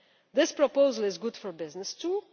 This proposal is good for business, too.